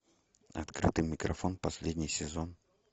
открытый микрофон последний сезон